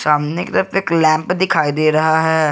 सामने की तरफ एक लैंप दिखाई दे रहा है।